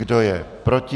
Kdo je proti?